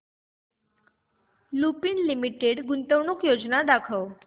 Lupin limited गुंतवणूक योजना दाखव